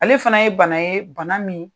Ale fana ye bana ye, bana min